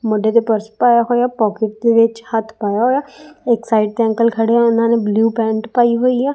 ਮੋਢੇ ਤੇ ਪਰਸ ਪਾਇਆ ਹੋਇਆ ਪੋਕਿਟ ਦੇ ਵਿੱਚ ਹੱਥ ਪਾਇਆ ਹੋਇਆ ਇਕ ਸਾਈਡ ਤੇ ਅੰਕਲ ਖੜੇ ਆ ਇਹਨਾਂ ਨੇ ਬਲੂ ਪੈਂਟ ਪਾਈ ਹੋਈ ਆ।